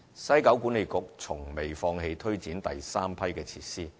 西九管理局從未放棄推展第三批設施。